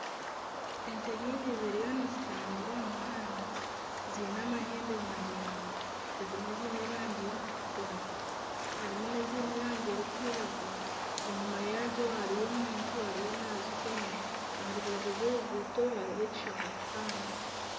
Ente nyingi ziriyo nizitambura omu muhanda ziine amahembe maraingwa ,ezimwe ziine erangi erikutukura harimu nana eziine erangi erikwiragura enyuma yaazo hariyo omuntu ariyo nazifunya aha rubaju rw'oruguuto hariho ekishaka kihango.